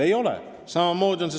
Ei ole nii!